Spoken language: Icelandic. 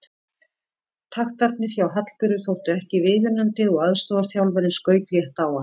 Taktarnir hjá Hallberu þóttu ekki viðunandi og aðstoðarþjálfarinn skaut létt á hana.